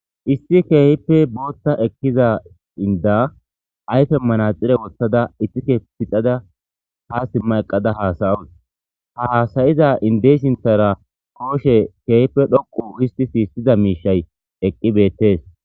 Issi keehippe bootta eqkiza inda ayfe manaxire wothtada itike pixada ha simma eqqada haasayoos ha hasayiza indey sinthara kooshe keehippe dhoqu histi siissida miishay eqqi beettees.